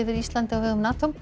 Íslandi á vegum NATO